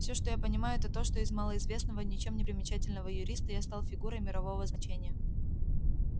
все что я понимаю это то что из малоизвестного ничем не примечательного юриста я стал фигурой мирового значения